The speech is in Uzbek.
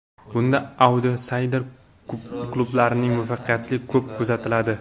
Bunda autsayder klublarning muvaffaqiyati ko‘p kuzatiladi.